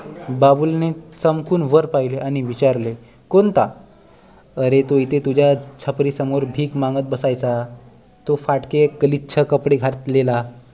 बाबूलने चमकून वर पहिले आणि विचारले कोणता अरे तो इथे तुझ्या छपरी समोर भीक मागत बसायचा तो फाटके गलीच्छ कपडे घातलेला